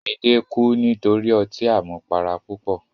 Midé kú nítorí ọtí àmupara púpọ̀.